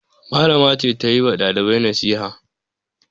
Malama ce ta yi wa ɗalibai nasiha.